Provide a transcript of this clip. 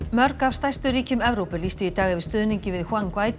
mörg af stærstu ríkjum Evrópu lýstu í dag yfir stuðningi við